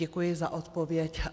Děkuji za odpověď.